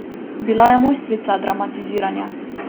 Bila je mojstrica dramatiziranja.